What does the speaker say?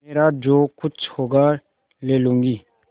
मेरा जो कुछ होगा ले लूँगी